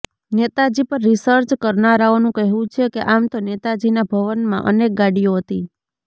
નેતાજી પર રીસર્ચ કરનારાઓનું કહેવું છે કે આમ તો નેતાજીના ભવનમાં અનેક ગાડીઓ હતી